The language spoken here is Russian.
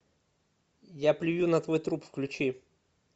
я плюю на твой труп включи